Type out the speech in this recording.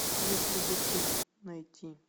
если бы ты найти